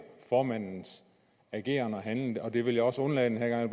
formandens ageren og handlen og det vil jeg også undlade den her